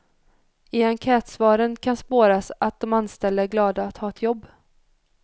I enkätsvaren kan spåras att de anställda är glada att ha ett jobb.